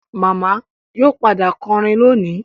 Màmá yóò padà kọrin lónìí